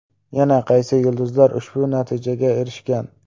Yana qaysi yulduzlar ushbu natijaga erishgan?.